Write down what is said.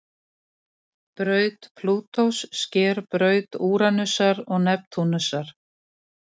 Spurningin verður hinsvegar til í samfélagi gagnkynhneigðs forræðis.